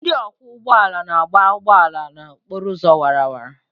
Ndị ọkwọ ụgbọ ala na-agba ụgbọ ala n'okporo ụzọ awara awara.